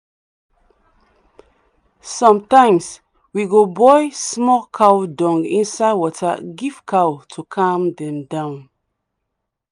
sometimes we go boil small cow dung inside water give cow to calm dem down.